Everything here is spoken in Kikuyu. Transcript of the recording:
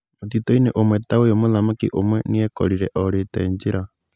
Mũtitũ-inĩ ũmwe ta ũyũ mũthamaki ũmwe nĩekorire orĩte njĩra.